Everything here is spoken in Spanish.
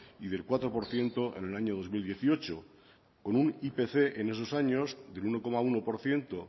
y del cuatro por ciento en el año dos mil dieciocho con un ipc en esos años del uno coma uno por ciento